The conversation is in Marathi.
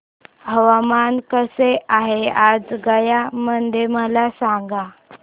हवामान कसे आहे आज गया मध्ये मला सांगा